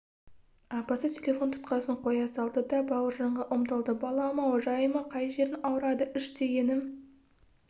апасы телефон тұтқасын қоя салды да бауыржанға ұмтылды балам-ау жай ма қай жерің ауырады іш дегені